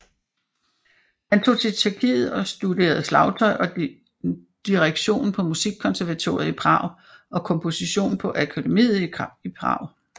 Han tog til Tjekkiet og studerede slagtøj og direktion på Musikkonservatoriet i Prag og komposition på Akademiet i Prag